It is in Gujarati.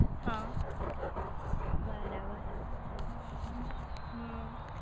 હ બરાબર હમ્મ